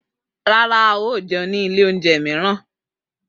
Rara, a yoo jẹun ni ile ounjẹ miiran.